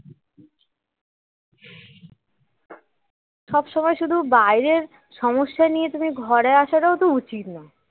সবসময় শুধু বাহিরের সমস্যা নিয়ে তুমি ঘরে আসাটাও তো উচিত না